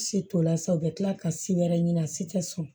Si tola sa u bɛ tila ka si wɛrɛ ɲini a si tɛ sɔn